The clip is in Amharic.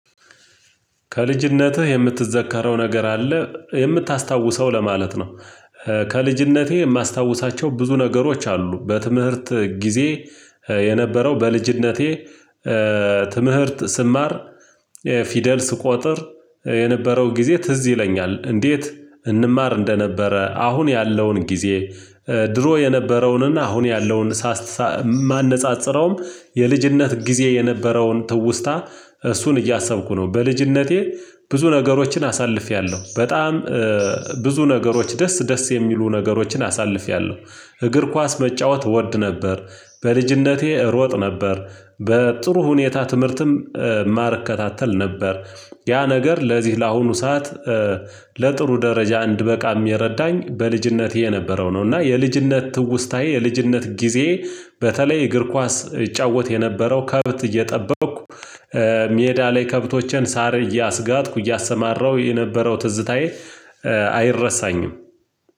ከልጅነትህ የምትዘከረው ነገር አለ? የምታስታውሰው ለማለት ነው፤ ከልጅነቴ የማስታውሳቸው ብዙ ነገሮች አሉ፤ በትምህርት ጊዜ የነበረው በልጅነቴ ትምህርት ስማር፤ ፊደል ስቆጥር የነበረው ጊዜ ትዝ ይለኛል፤ እንዴት እንማር እንደነበረ አሁን ያለውን ጊዜ፣ ድሮ የነበረውንና አሁን ያለውን ማነጻጸረውም የልጅነት ጊዜ የነበረውን ትውስታ እሱን እያሰብኩ ነው፤ በልጅነቴ ብዙ ነገሮችን አሳልፌያለሁ፤ በጣም ብዙ ነገሮች ደስ ደስ የሚሉ ነገሮችን አሳልፌያለሁ፤ እግር ኳስ መጫወት እወድ ነበር፤ በልጅነቴ እሮጥ ነበር፤ በጥሩ ሁኔታ ትምህርትም እማር እከታተል ነበር፤ ያ ነገር ለዚህ ለአሁኑ ሰዓት ለጥሩ ደረጃ እንድበቃም የረዳኝ በልጅነቴ የነበረው ነው እና የልጅነት ትውስታዬ የልጅነት ጊዜ በተለይ እግር ኳስ ይጫወት የነበረው ከብት እየጠበቅኩ ሜዳ ላይ ከብቶችን ሳር እያሰጋጥኩ፣ እያሰማራሁ የነበረው ትዝታዬ አይረሳኝም።